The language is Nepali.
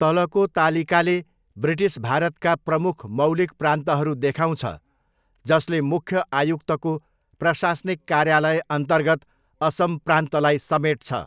तलको तालिकाले ब्रिटिश भारतका प्रमुख मौलिक प्रान्तहरू देखाउँछ जसले मुख्य आयुक्तको प्रशासनिक कार्यालय अन्तर्गत असम प्रान्तलाई समेटछ।